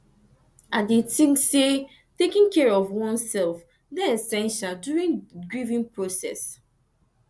i dey think say taking care of oneself dey essential during grieving process